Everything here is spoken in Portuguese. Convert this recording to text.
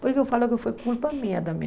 Porque eu falava que foi culpa minha também.